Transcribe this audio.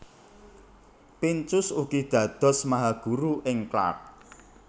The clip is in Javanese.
Pincus ugi dados mahaguru ing Clark